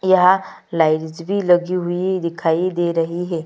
यह लगी हुई दिखाई दे रही है।